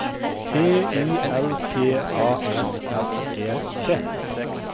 T I L P A S S E T